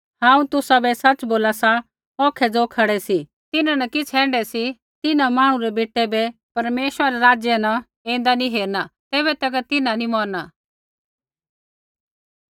हांऊँ तुसाबै सच़ बोला सा औखै ज़ो खड़ै सी तिन्हां न किछ़ ऐण्ढै सी तिन्हां मांहणु रै बेटै बै परमेश्वरै रै राज्य न ऐन्दा नी हेरलै तैबै तक तिन्हां नी मौरना